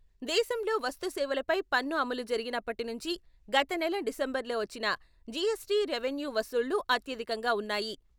దేశంలో వస్తు సేవలపై పన్ను అమలు జరిగినప్పటి నుంచి గత నెల డిసెంబర్లో వచ్చిన జీఎస్టీ రెవెన్యూ వసూళ్లు అత్యధికంగా ఉన్నాయి.